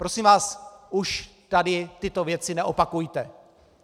Prosím vás, už tady tyto věci neopakujte!